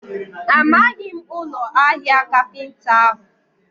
Amaghị m ụlọ ahịa kapinta ahụ.